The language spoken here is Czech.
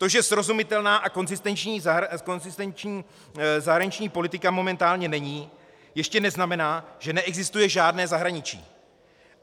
To, že srozumitelná a konzistentní zahraniční politika momentálně není, ještě neznamená, že neexistuje žádné zahraničí.